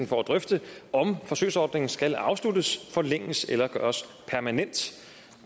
for at drøfte om forsøgsordningen skal afsluttes forlænges eller gøres permanent